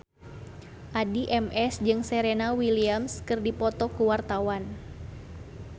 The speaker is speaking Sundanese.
Addie MS jeung Serena Williams keur dipoto ku wartawan